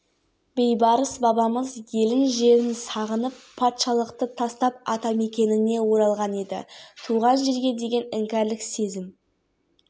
мен перзенттік парыз аңсау мен сағыныш одан жыраққа кеткен кезде көбірек көрініс беретіні дәлел-деуді қажет